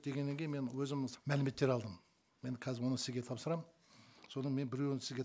дегеннен кейін мен өзім мәліметтер алдым мен қазір оны сізге тапсырамын содан мен біреуін сізге